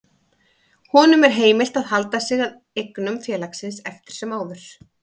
Honum er heimilt að halda sig að eignum félagsins eftir sem áður.